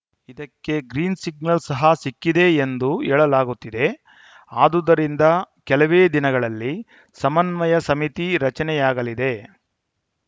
ಇದಕ್ಕೆ green signal ಸಹ ಸಿಕ್ಕಿದೆ ಎಂದು ಹೇಳಲಾಗುತ್ತಿದೆ ಆದುದರಿಂದ ಕೆಲವೇ ದಿನಗಳಲ್ಲಿ ಸಮನ್ವಯ ಸಮಿತಿ ರಚನೆಯಾಗಲಿದೆ